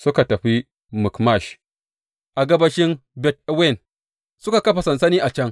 Suka tafi Mikmash a gabashin Bet Awen, suka kafa sansani a can.